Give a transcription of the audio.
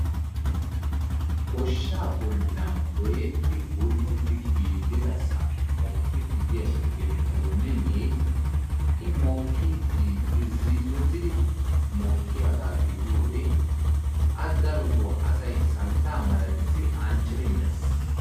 Goshshaa bollan gooyyeti bull''eti giigidasan mokkiiddi diya xiqqile goomenee i mokkidi irzzizoti mokkiyaaga gididiyoode a darottoo asay santta malatissi anccidi mees.